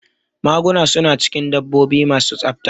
Maguna su na cikin dabbobi ma su tsafta